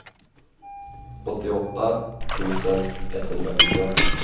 åttioåtta tusen etthundrafyra